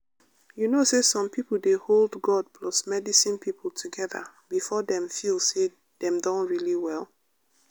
you know say some people dey hold god plus medicine people together before dem feel say dem don really well.